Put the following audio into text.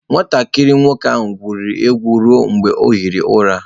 Nwatakịrị nwoke ahụ na-egwuri egwu ruo mgbe ọ hie ụra.